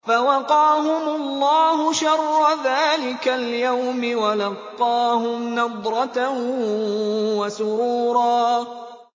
فَوَقَاهُمُ اللَّهُ شَرَّ ذَٰلِكَ الْيَوْمِ وَلَقَّاهُمْ نَضْرَةً وَسُرُورًا